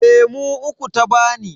Lemu uku ta bani.